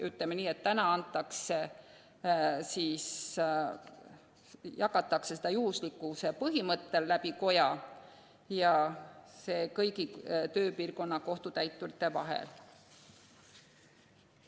Ütleme nii, et praegu jagatakse nõudeid juhuslikkuse põhimõttel koja kaudu ja kõigi tööpiirkonna kohtutäiturite vahel.